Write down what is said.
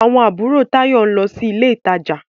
Àwọn àbúrò Táyọ̀ ń lọ sí ilé ìtajà.